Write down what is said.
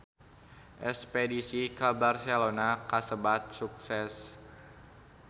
Espedisi ka Barcelona kasebat sukses